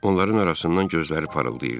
Onların arasından gözləri parıldayırdı.